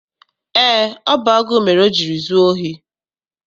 Eé, ọ bụ agụụ mere o jiri zuo ohi.